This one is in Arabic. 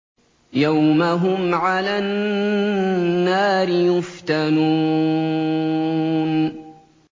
يَوْمَ هُمْ عَلَى النَّارِ يُفْتَنُونَ